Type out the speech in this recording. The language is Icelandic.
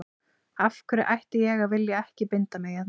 Af hverju ætti ég að vilja ekki binda mig hérna.